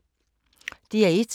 DR1